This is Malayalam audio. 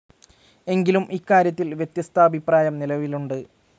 എങ്കിലും, ഇക്കാര്യത്തിൽ വ്യത്യസ്താഭിപ്രായം നിലവിലുണ്ട്.